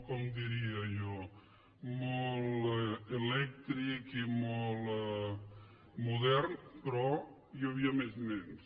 com diria jo molt elèctric i molt modern però hi havia més nens